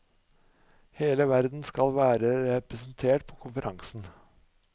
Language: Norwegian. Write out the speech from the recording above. Hele verden skal være representert på konferansen.